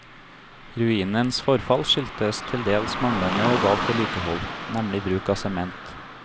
Ruinens forfall skyldtes til dels manglende og galt vedlikehold, nemlig bruk av sement.